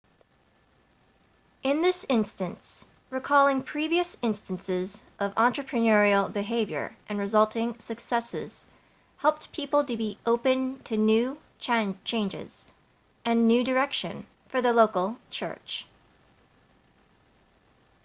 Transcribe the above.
in this instance recalling previous instances of entrepreneurial behavior and resulting successes helped people to be open to new changes and new direction for the local church